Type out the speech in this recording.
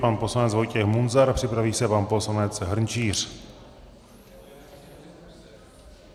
Pan poslanec Vojtěch Munzar, připraví se pan poslanec Hrnčíř.